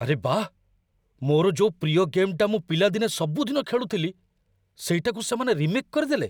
ଆରେ ବାଃ, ମୋର ଯୋଉ ପ୍ରିୟ ଗେମ୍‌ଟା ମୁଁ ପିଲାଦିନେ ସବୁଦିନ ଖେଳୁଥିଲି, ସେଇଟାକୁ ସେମାନେ ରିମେକ୍ କରିଦେଲେ!